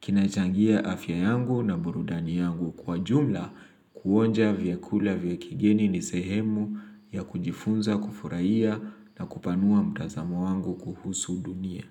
kinachangia afya yangu na burudani yangu kwa jumla kuonja vyakula vya kigeni ni sehemu ya kujifunza kufuraia na kupanua mtazamo wangu kuhusu dunia.